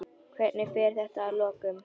Hvernig fer þetta að lokum?